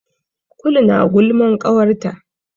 Kulu na gulman ƙawarta.